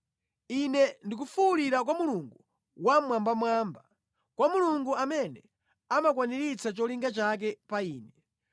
Ine ndikufuwulira kwa Mulungu Wammwambamwamba, kwa Mulungu amene amakwaniritsa cholinga chake pa ine.